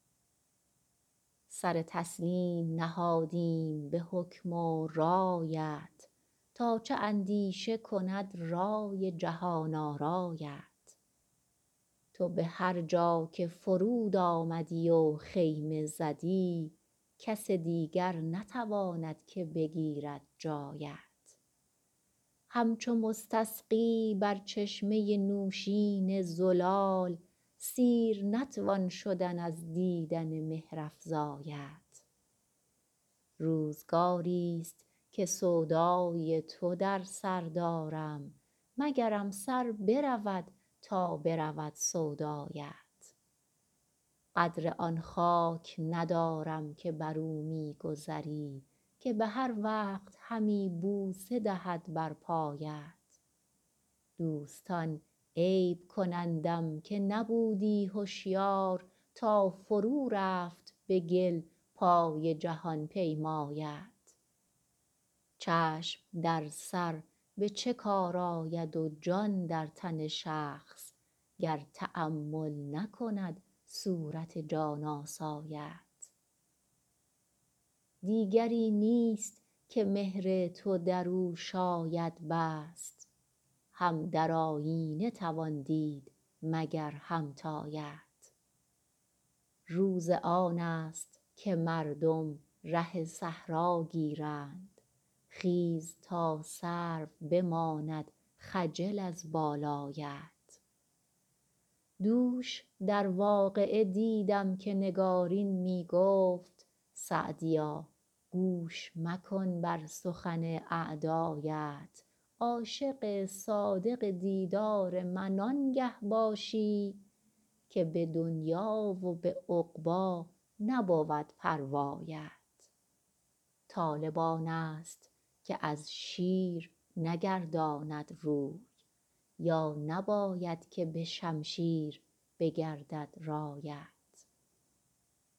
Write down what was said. سر تسلیم نهادیم به حکم و رایت تا چه اندیشه کند رای جهان آرایت تو به هر جا که فرود آمدی و خیمه زدی کس دیگر نتواند که بگیرد جایت همچو مستسقی بر چشمه نوشین زلال سیر نتوان شدن از دیدن مهرافزایت روزگاریست که سودای تو در سر دارم مگرم سر برود تا برود سودایت قدر آن خاک ندارم که بر او می گذری که به هر وقت همی بوسه دهد بر پایت دوستان عیب کنندم که نبودی هشیار تا فرو رفت به گل پای جهان پیمایت چشم در سر به چه کار آید و جان در تن شخص گر تأمل نکند صورت جان آسایت دیگری نیست که مهر تو در او شاید بست هم در آیینه توان دید مگر همتایت روز آن است که مردم ره صحرا گیرند خیز تا سرو بماند خجل از بالایت دوش در واقعه دیدم که نگارین می گفت سعدیا گوش مکن بر سخن اعدایت عاشق صادق دیدار من آنگه باشی که به دنیا و به عقبی نبود پروایت طالب آن است که از شیر نگرداند روی یا نباید که به شمشیر بگردد رایت